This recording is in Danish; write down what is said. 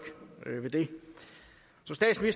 ved det